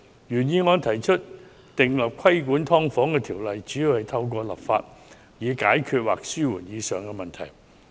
原議案提出訂立規管"劏房"的條例，主要透過立法解決或紓緩上述問題。